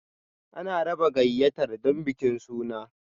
An raba gayyatar don bikin suna.